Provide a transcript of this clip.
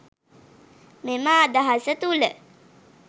මෙම අදහස තුළ